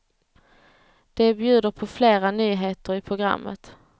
De bjuder på flera nyheter i programmet.